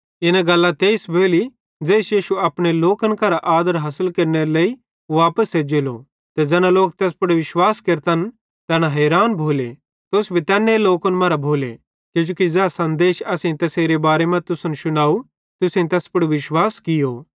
इना गल्लां तेइस भोली ज़ेइस यीशु अपने लोकन करां आदर हासिल केरनेरे लेइ वापस एज्जेलो ते ज़ैना लोक तैस पुड़ विश्वास केरतन तैना हैरान भोले तुस भी तैन्ने लोकन मरां भोले किजोकि ज़ै सन्देश असेईं तैसेरे बारे मां तुसन शुनव तुसेईं तैस पुड़ विश्वास कियो